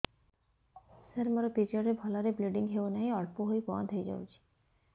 ସାର ମୋର ପିରିଅଡ଼ ରେ ଭଲରେ ବ୍ଲିଡ଼ିଙ୍ଗ ହଉନାହିଁ ଅଳ୍ପ ହୋଇ ବନ୍ଦ ହୋଇଯାଉଛି